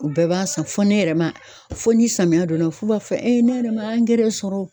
U bɛɛ b'a san fɔ ne yɛrɛ ma, fo ni samiya donna f'u b'a fɔ e ne yɛrɛ ma angɛrɛ sɔrɔ o.